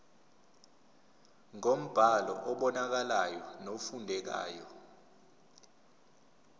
ngombhalo obonakalayo nofundekayo